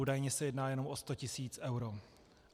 Údajně se jedná jenom o 100 tisíc eur.